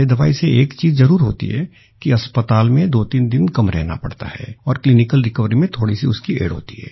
ये दवाई से एक चीज़ जरुर होती है कि अस्पताल में दोतीन दिन कम रहना पड़ता है और क्लिनिकल रिकवरी में थोड़ी सी उसकी एड होती है